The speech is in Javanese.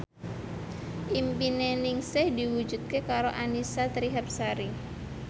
impine Ningsih diwujudke karo Annisa Trihapsari